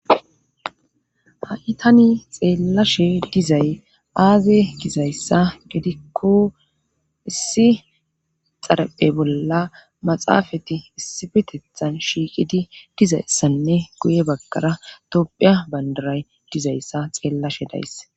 ha7itani xeellashe dizay aaze gizayssa gedikko issi xaraphe bolla maxaafati issibitethan shiiqidi dizayssanne guye baggara tophiya bandaray dizayssa xeellashe days